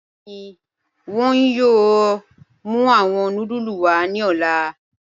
Bẹẹni, wọn yọọ mù awọn núdúlù wa ni ọ̀lá.